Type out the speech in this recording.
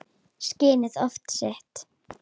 Skinnið of sítt.